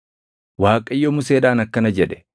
Waaqayyo Museedhaan akkana jedhe;